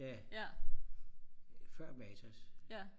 før matas